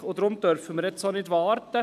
Und deshalb dürfen wir nicht damit warten.